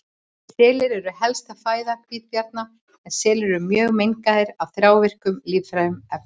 Selir eru helsta fæða hvítabjarna en selir eru mjög mengaðir af þrávirkum lífrænum efnum.